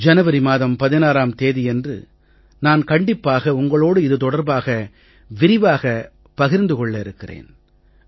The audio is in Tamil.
ஜனவரி மாதம் 16ம் தேதியன்று நான் கண்டிப்பாக உங்களோடு இது தொடர்பாக விரிவாக பகிர்ந்து கொள்ள இருக்கிறேன்